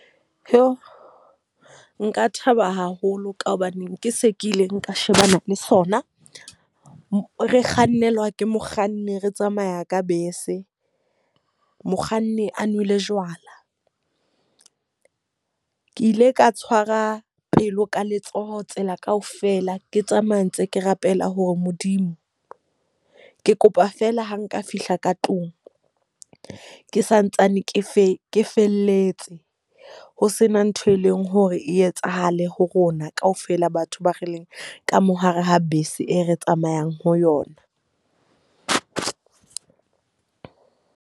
Nka thaba haholo ka hobaneng ke se ke ile nka shebana le sona. Re kgannelwa ke mokganni, re tsamaya ka bese. Mokganni a nwele jwala. Ke ile ka tshwara pelo ka letsoho tsela kaofela. Ke tsamaya ntse ke rapela hore Modimo ke kopa feela ha nka fihla ka tlung, ke santsane ke fe felletse. Ho sena ntho e leng hore e etsahale ho rona ka ofela batho ba re leng ka mo hare ha bese e re tsamayang ho yona.